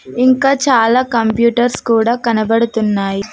ఇంకా చాలా కంప్యూటర్స్ కూడా కనబడుతున్నాయి.